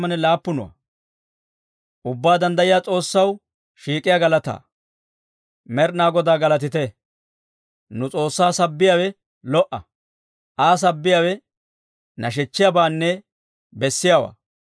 Med'inaa Godaa galatite! Nu S'oossaa sabbiyaawe lo"a; Aa sabbiyaawe nashechchiyaabaanne bessiyaawaa.